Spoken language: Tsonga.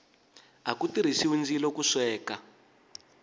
aku tirhisiwa ndzilo ku sweka